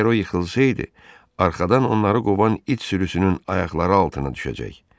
Əgər o yıxılsaydı, arxadan onları qovan it sürüsünün ayaqları altına düşəcək.